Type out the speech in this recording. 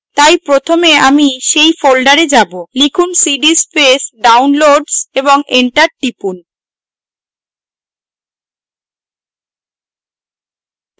তাই প্রথমে আমি সেই folder যাবো লিখুন cd space downloads এবং enter টিপুন